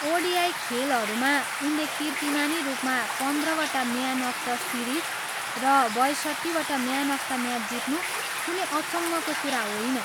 ODI खेलहरूमा उनले कीर्तिमानी रूपमा पन्द्रवटा म्यान अफ द सिरिज र बयसट्ठीवटा म्यान अफ द म्याच जित्नु कुनै अचम्मको कुरा होइन।